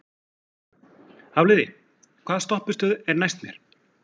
Hafliði, hvaða stoppistöð er næst mér?